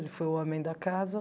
Ele foi o homem da casa.